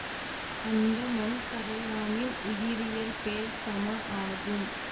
அந்த மண் கறையானின் உயிரியல் பெயர் சம ஆகும்